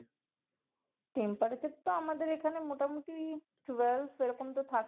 temperature তো আমাদের এখানে মোটামুটি twelve এরকম তো থাকে